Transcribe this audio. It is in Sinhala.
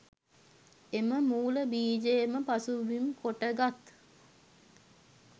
එම මූල බීජයම පසුබිම් කොටගත්